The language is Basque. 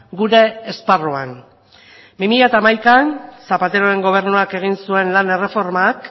gure esparruan bi mila hamaikaan zapateroren gobernuak egin zuen lan erreformak